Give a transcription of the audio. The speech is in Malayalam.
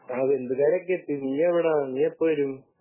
ആഹ് ബന്ധുക്കാരൊക്കെ എത്തി നീ എവിടാ നീയെപ്പോ വരും